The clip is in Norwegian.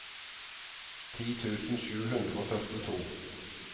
ti tusen sju hundre og førtito